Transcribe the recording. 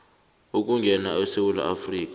ukungena esewula afrika